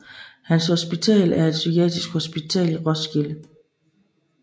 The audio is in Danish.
Hans Hospital er et psykiatrisk hospital i Roskilde